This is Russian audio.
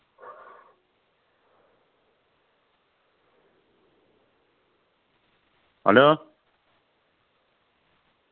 аллё